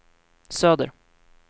söder